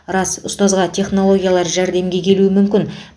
рас ұстазға технологиялар жәрдемге келуі мүмкін